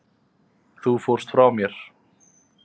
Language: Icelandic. Þú fórst frá mér.